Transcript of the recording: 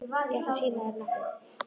Ég ætla að sýna þér nokkuð.